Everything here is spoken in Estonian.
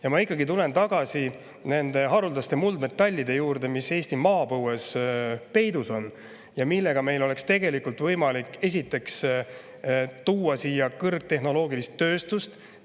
Ma tulen ikkagi tagasi nende haruldaste muldmetallide juurde, mis Eesti maapõues peidus on ja millega meil oleks tegelikult võimalik, esiteks, tuua siia kõrgtehnoloogilist tööstust.